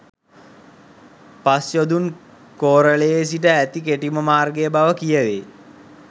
පස්යොදුන් කෝරලයේ සිට ඇති කෙටිම මාර්ගය බව කියැවෙයි.